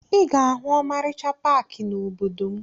Ị ga-ahụ ọmarịcha paakị n'obodo m